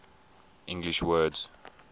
english words